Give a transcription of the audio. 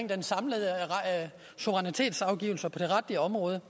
den samlede suverænitetsafgivelse på det retlige område